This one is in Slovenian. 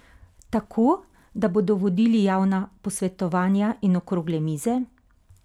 Tako, da bodo vodili javna posvetovanja in okrogle mize?